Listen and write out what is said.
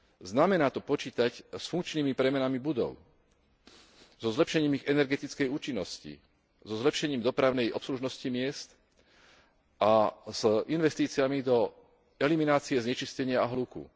Znamená to počítať s funkčnými premenami budov, so zlepšením ich energetickej účinnosti, so zlepšením dopravnej obslužnosti miest a s investíciami do eliminácie znečistenia a hluku.